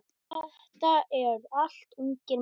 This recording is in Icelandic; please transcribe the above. Þetta eru allt ungir menn.